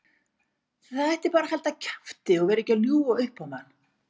Það ætti bara að halda kjafti og vera ekki að ljúga upp á mann.